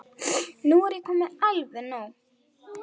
Nú er komið alveg nóg!